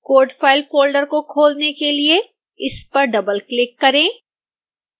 codefile folder को खोलने के लिए इस पर डबलक्लिक करें